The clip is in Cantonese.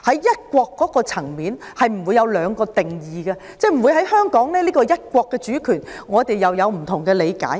"一國"不會有兩個定義，即在香港，我們不會對"一國"的主權有不同的理解。